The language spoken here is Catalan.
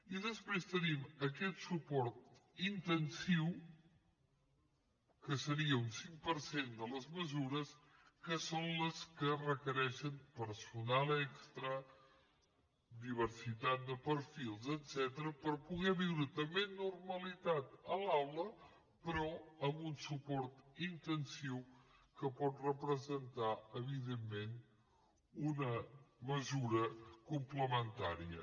i després tenim aquest suport intensiu que seria un cinc per cent de les mesures que són les que requereixen personal extra diversitat de perfils etcètera per poder viure també amb normalitat a l’aula però amb un suport intensiu que pot representar evidentment una mesura complementària